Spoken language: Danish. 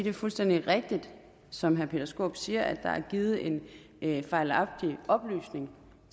er fuldstændig rigtigt som herre peter skaarup siger at der er givet en en fejlagtig oplysning